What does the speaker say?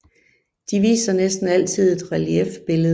De viser næsten altid et reliefbillede